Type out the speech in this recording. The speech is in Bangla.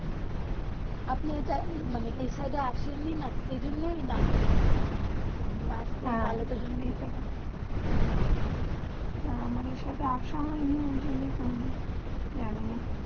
আপনি এটা মানে এই সাইড আসি নি সেই জন্যে নাম শুনেনি আপনি আসবেন তালে তো জানবেন হেঁ আমার এই সাইড আসা হয়ে নি ঐই জন্য জানি না